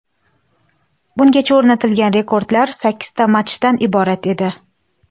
Bungacha o‘rnatilgan rekordlar sakkizta matchdan iborat edi.